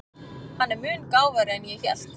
Hann er mun gáfaðri en ég hélt.